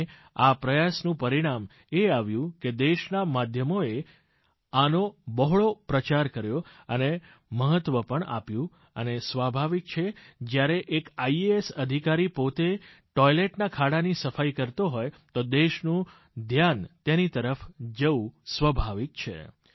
અને આ પ્રયાસનું પરિણામ એ આવ્યું કે દેશના માધ્યમોએ આનો બહોળો પ્રચાર કર્યો તેને મહત્વ પણ આપ્યું અને સ્વાભાવિક છે જ્યારે એક આઇએએસ અધિકારી પોતે ટોઈલેટના ખાડાની સફાઈ કરતો હોય તો દેશનું ધ્યાન તેની તરફ જવું સ્વાભાવિક છે